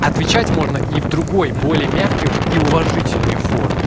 отвечать можно и в другой более мягкой и уважительной форме